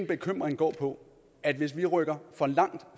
bekymring går på at hvis vi rykker for langt